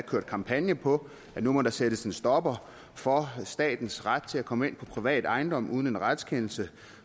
kørt kampagner på at nu må der sættes en stopper for statens ret til at komme ind på privat ejendom uden en retskendelse